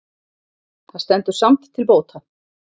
Það stendur samt til bóta